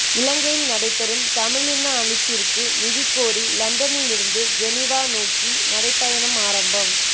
இலங்கையில் நடைபெறும் தமிழின அழிப்பிற்கு நீதி கோரி லண்டனிலிருந்து ஜெனீவா நோக்கி நடைபயணம் ஆரம்பம்